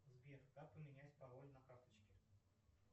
сбер как поменять пароль на карточке